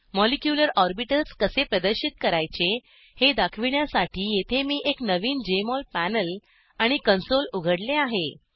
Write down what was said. molecular orbitals कसे प्रदर्शित करायचे हे दाखविण्यासाठी येथे मी एक नवीन जेएमओल पॅनेल आणि कंसोल उघडले आहे